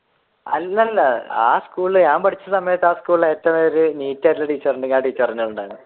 അല്ല അല്ല ആ സ്കൂളിൽ ഞാൻ പഠിച്ച സമയത്തു ആ സ്കൂളിൽ ഏറ്റവും ഒരു neat ആയിട്ടുള്ള ടീച്ചർ ഉണ്ടെങ്കിൽ